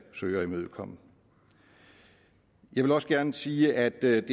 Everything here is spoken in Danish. søge at imødekomme jeg vil også gerne sige at